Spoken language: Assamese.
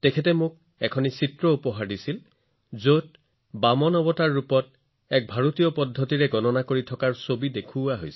তেওঁ মোক এখন চিত্ৰ দিছিল যত বামন অৱতাৰৰ জৰিয়তে গণনা বা জোখৰ একে ধৰণৰ ভাৰতীয় পদ্ধতি দেখুওৱা হৈছিল